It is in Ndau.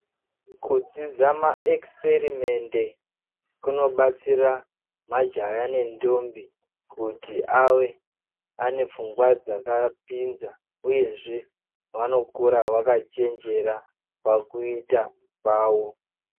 Kudzidza maekisiperimende kunobatsira majaya nendombi kuti ave anepfungwa dzakapinza uyezve vanokura vakachenjera pakuita kwavo.